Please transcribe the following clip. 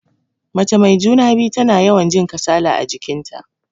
Mace mai juna-biyu tana yawan jin kasala a jikin ta.